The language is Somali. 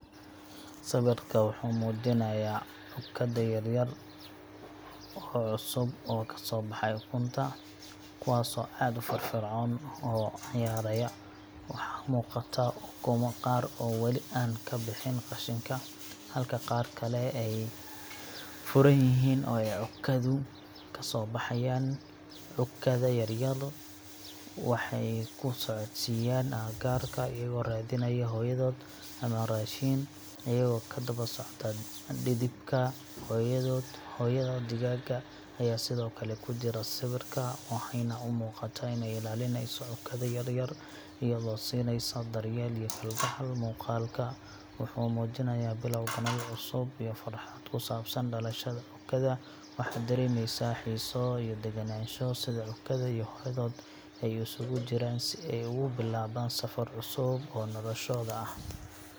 Sawirka wuxuu muujinayaa cukkada yaryar oo cusub oo ka soo baxay ukunta, kuwaasoo aad u firfircoon oo ciyaaraya. Waxaa muuqata ukumo qaar oo weli aan ka bixin qashinka, halka qaar kale ay furan yihiin oo ay cukkadu ka soo baxayaan. Cukkada yaryar waxay ku socodsiiyaan agagaarka, iyagoo raadinaya hooyadood ama raashin, iyagoo ku daba socda dhidibka hooyadood. Hooyada digaaga ayaa sidoo kale ku jira sawirka, waxayna u muuqataa inay ilaalinayso cukkada yaryar, iyadoo siinaysa daryeel iyo kalgacal. Muuqaalka wuxuu muujinayaa bilowga nolol cusub iyo farxad ku saabsan dhalashada cukkada. Waxaad dareemaysaa xiiso iyo degenaansho, sida cukkada iyo hooyadood ay isugu jiraan si ay ugu bilaabaan safar cusub oo noloshooda ah.